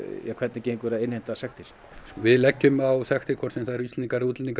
hvernig gengur að innheimta sektir við leggjum á sektir hvort sem það eru Íslendingar eða útlendingar